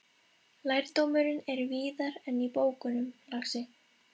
Lærdómurinn er víðar en í bókunum, lagsi.